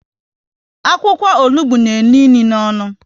Akwụkwọ onugbu n'enu inu n'onu